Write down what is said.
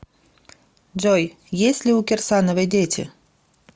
джой есть ли у кирсановой дети